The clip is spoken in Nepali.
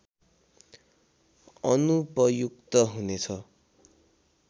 अनुपयुक्त हुनेछ